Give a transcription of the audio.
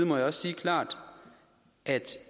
må jeg også sige klart at